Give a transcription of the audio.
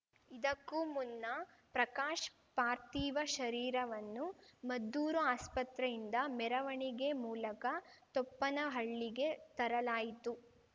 ಇದಕ್ಕೂ ಮುನ್ನ ಪ್ರಕಾಶ್‌ ಪಾರ್ಥಿವ ಶರೀರವನ್ನು ಮದ್ದೂರು ಆಸ್ಪತ್ರೆಯಿಂದ ಮೆರವಣಿಗೆ ಮೂಲಕ ತೊಪ್ಪನಹಳ್ಳಿಗೆ ತರಲಾಯಿತು